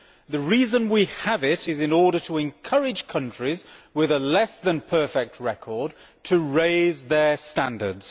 The reason we have it is in order to encourage countries with a less than perfect record to raise their standards.